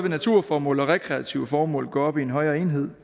naturformål og rekreative formål gå op i en højere enhed